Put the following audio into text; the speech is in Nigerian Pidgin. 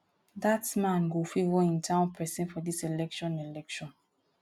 dat man go favour im town person for dis election election